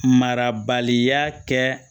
Marabaliya kɛ